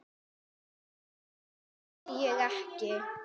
Nei, þess þurfti ég ekki.